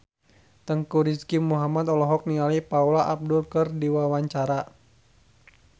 Teuku Rizky Muhammad olohok ningali Paula Abdul keur diwawancara